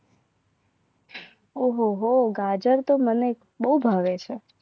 ઓહો ગાજર તો મને બહુ ભાવે છે.